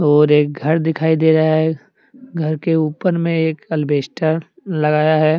और एक घर दिखाई दे रहा है घर के ऊपर मे एक अलवेस्टर लगाया है।